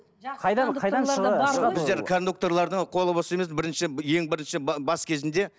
біздер кондукторлардың қолы бос емес бірінші ең бірінші бас кезінде